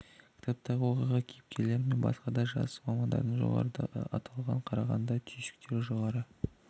кітаптағы оқиға кейіпкерлері мен басқа да жас мамандардың жоғарыдағы аталған қарағанда түйсіктері жоғары